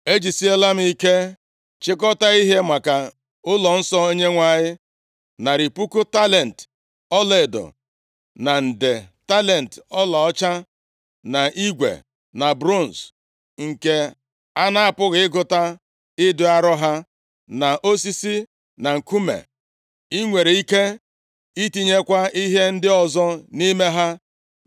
“Ejisiela m ike chịkọtaa ihe maka ụlọnsọ Onyenwe anyị, narị puku talenti ọlaedo na nde talenti ọlaọcha, na igwe, na bronz, nke a na-apụghị ịgụta ịdị arọ ha, na osisi, na nkume. I nwere ike itinyekwa ihe ndị ọzọ nʼime ha.